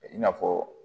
I n'a fɔ